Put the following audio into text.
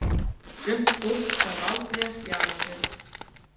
En sumt fólk þarf aldrei að spjara sig.